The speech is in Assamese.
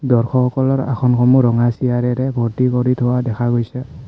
দৰ্শক সকলৰ আসন সমূহ ৰঙা চিয়াৰে ৰে ভৰ্তি কৰি থোৱা দেখা গৈছে।